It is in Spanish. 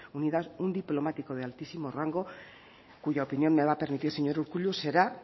unidad un diplomático de altísimo rango cuya opinión me va a permitir señor urkullu será